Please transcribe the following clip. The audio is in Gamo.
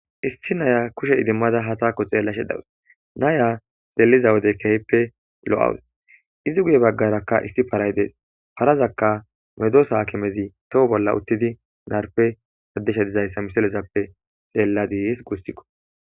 Issi naya kushe idimmada ha taakko xeella shedawus naya xeliza wode kehppe lo7awus izi guye baggarakka isti paray dees parazakka medosaakimezi toho bolla uttidi narpe addesha dizayssa misalezappe xeelladiis gussikko